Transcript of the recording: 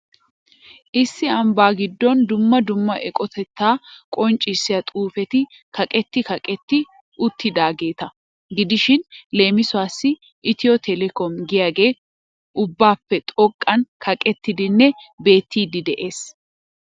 Issi ambba gidoon duumma duumma eqotata qonccissiyaa xuufeti kaqetti kaqetti utyidaageeta gidishin leemusuwaas 'Ethio telecom' giyagee ubbappe xoqqaan kaqettidinne beettdi de'ees.